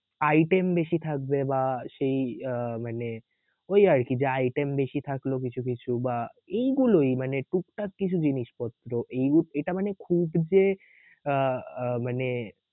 item বেশি থাকবে বা সেই আহ মানে ওই আরকি যে item বেশি থাকলো কিছু কিছু বা এইগুলোই মানে টুকটাক কিছু জিনিসপত্র এইরূপ এটা মানে খুব যে আহ মানে